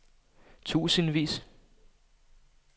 tusindvis